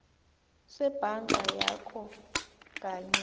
sebhanka yakho kanye